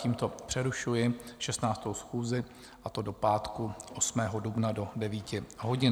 Tímto přerušuji 16. schůzi, a to do pátku 8. dubna do 9 hodin.